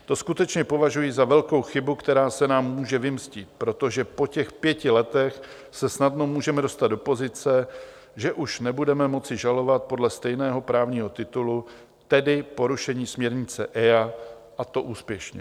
To skutečně považuji za velkou chybu, která se nám může vymstít, protože po těch pěti letech se snadno můžeme dostat do pozice, že už nebudeme moci žalovat podle stejného právního titulu, tedy porušení směrnice EIA, a to úspěšně.